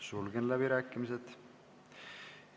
Sulgen läbirääkimised.